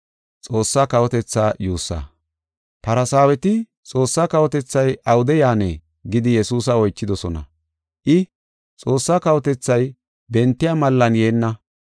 Farsaaweti, “Xoossa kawotethay awude yaanee?” gidi Yesuusa oychidosona. I, “Xoossaa kawotethay bentiya mallan yeenna.